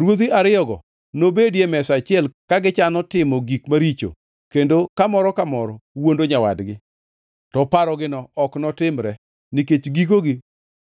Ruodhi ariyogo nobedi e mesa achiel ka gichano timo gik maricho kendo ka moro ka moro wuondo nyawadgi, to parogino ok notimre, nikech gikogi